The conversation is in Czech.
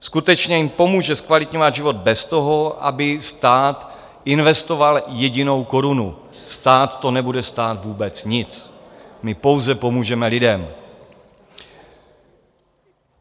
Skutečně jim pomůže zkvalitňovat život bez toho, aby stát investoval jedinou korunu, stát to nebude stát vůbec nic, my pouze pomůžeme lidem.